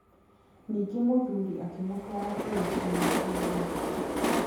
Ningĩ mũthuri akĩmũtwara kũrĩ kiugũ kĩa ng'ombe.